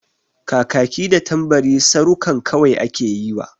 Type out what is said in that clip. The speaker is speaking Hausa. Kakaki da Tambari sarukan kawai ake yiwa.